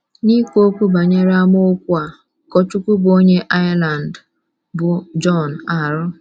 N’ikwu okwu banyere amaokwu a, ụkọchukwu bụ́ onye Ireland, bụ́ John R.